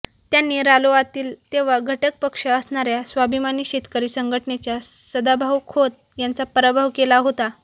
त्यांनी रालोआतील तेव्हा घटकपक्ष असणाऱ्या स्वाभिमानी शेतकरी संघटनेच्या सदाभाऊ खोत यांचा पराभव केला होता